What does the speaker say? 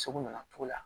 Segu na togo la